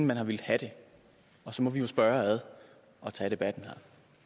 man har villet have det og så må vi jo spørge og tage debatten her